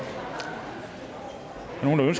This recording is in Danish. nogen